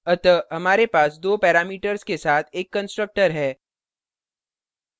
अतः हमारे पास दो parameters के साथ एक constructor है